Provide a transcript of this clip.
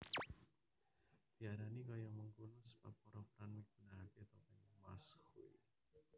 Diarani kaya mengkono sebab para peran migunakaké topeng masque